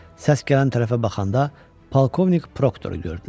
Səs gələn tərəfə baxanda polkovnik Proktoru gördülər.